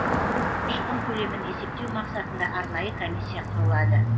шығын көлемін есептеу мақсатында арнайы комиссия құрылады